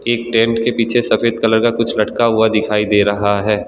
इन tent के पीछे सफेद कलर का कुछ लटका हुआ दिखाई दे रहा है।